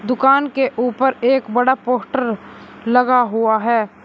दुकान के ऊपर एक बड़ा पोस्टर लगा हुआ है।